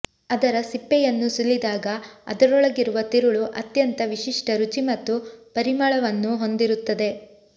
ಅದರ ಸಿಪ್ಪೆಯನ್ನು ಸುಲಿದಾಗ ಅದರೊಳಗಿರುವ ತಿರುಳು ಅತ್ಯಂತ ವಿಶಿಷ್ಟ ರುಚಿ ಮತ್ತು ಪರಿಮಳವನ್ನು ಹೊಂದಿರುತ್ತದೆ